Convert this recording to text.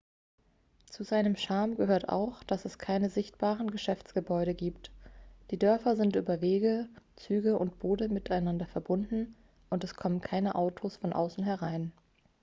zu seinem charme gehört auch dass es keine sichtbaren geschäftsgebäude gibt die dörfer sind über wege züge und boote miteinander verbunden und es kommen keine autos von außen herein